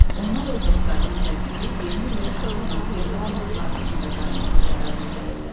Onlar öz dostlarından zəng eləyib yeni ili ata-anası evdə olmayan Vaqifgilə qarşılamaq qərarına gəlirlər.